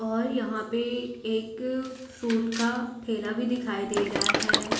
और यहां पे एक फ्रूट का ठेला भी दिखाई दे रहा है।